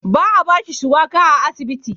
Ba a ba shi shuwaka a asibiti ba.